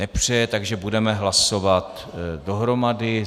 Nepřeje, takže budeme hlasovat dohromady.